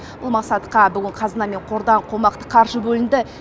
бұл мақсатқа бүгін қазына мен қордан қомақты қаржы бөлінді